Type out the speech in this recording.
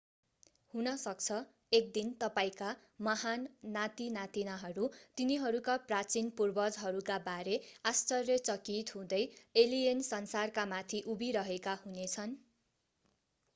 हुनसक्छ एक दिन तपाईंका महान नातिनातिनाहरू तिनीहरूका प्राचीन पुर्वजहरूका बारे आश्चर्यचकित हुँदै एलियन संसारकामाथि उभिरहेका हुनेछन्